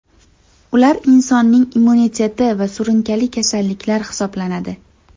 Ular insonning immuniteti va surunkali kasalliklar hisoblanadi.